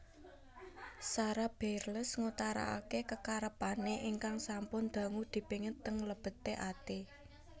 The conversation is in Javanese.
Sara Bareilles ngutarake kekarepane ingkang sampun dangu dipingit teng lebete ati